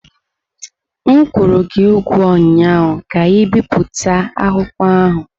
M kwụrụ gị ugwo ụnyaahụ ka ibipụta akwụkwọ ahụ!